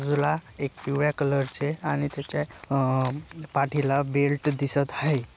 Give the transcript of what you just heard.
बाजूला एक पिळव्या कलरचे आणि त्याच्या अह पाठीला बेल्ट दिसत हाय.